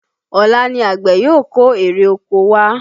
Ọ̀la ni àgbẹ̀ yóò kó ère oko wá